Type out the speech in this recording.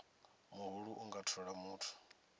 muhulu a nga thola muthu